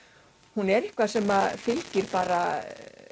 hún er eitthvað sem fylgir bara